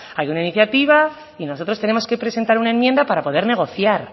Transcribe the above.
hay una iniciativa y nosotros tenemos que presentar una enmienda para poder negociar